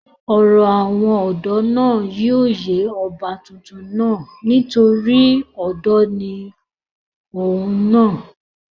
ọ̀rọ̀ àwọn ọ̀dọ́ náà yóò yé ọba tuntun náà nítorí ọ̀dọ́ ni òun náà